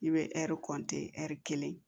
I bɛ ɛri kɔntin ɛri kelen